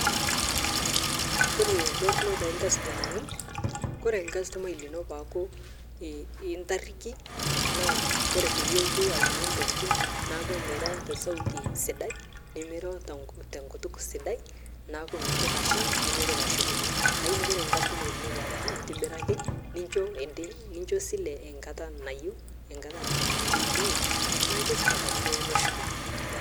Kore entorno telkasitomani kore lkasitomai lino paaku intariki tanaa kore payie elotu ainyang'u ntokitin naaku miroo tesauti sidai nimiro tenkutuk sidai naaku meitoki asham nemeitoki ashukunye lakini kore lkasitomai lino paaku intibiraki nichoo esile nkata nayeu ninye naaku keisupat amu kelo neshukunye.